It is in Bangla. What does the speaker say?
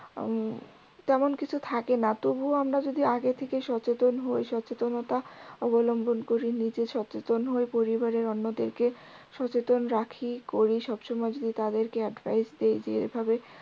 উম তেমন কিছু থাকে না তবুও আমরা যদি আগে থেকে সচেতন হই সচেতনতা অবলম্বন করি নিজে সচেতন হয়ে পরিবারের অন্যদেরকে সচেতন রাখি করি সবসময় যদি তাদেরকে advice দেই যে এভাবে